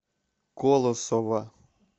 колосова